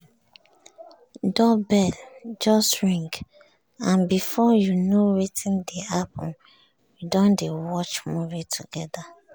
doorbell just ring and before you know wetin dey happen we don dey watch movie together.